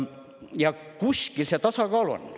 Ja kuskil see tasakaal on.